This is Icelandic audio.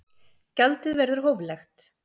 Gjaldið verður hóflegt